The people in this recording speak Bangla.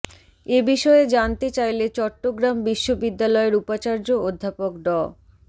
এ বিষয়ে জানতে চাইলে চট্টগ্রাম বিশ্ববিদ্যালয়ের উপাচার্য অধ্যাপক ড